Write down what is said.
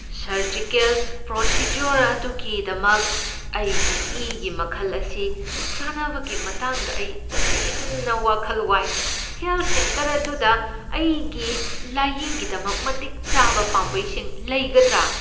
Surgical procedure ꯑꯗꯨꯒꯤꯗꯃꯛ ꯑꯩꯒꯤ ꯏꯒꯤ ꯃꯈꯜ ꯑꯁꯤ ꯆꯥꯟꯅꯕꯒꯤ ꯃꯇꯥꯡꯗ ꯑꯩ ꯇꯁꯦꯡꯅ ꯋꯥꯈꯜ ꯋꯥꯏ꯫ ꯍꯦꯜꯊ ꯁꯦꯟꯇꯔ ꯑꯗꯨꯗ ꯑꯩꯒꯤ ꯂꯥꯏꯌꯦꯡꯒꯤꯗꯃꯛ ꯃꯇꯤꯛ ꯆꯥꯕ ꯄꯥꯝꯕꯩꯁꯤꯡ ꯂꯩꯒꯗ꯭ꯔꯥ?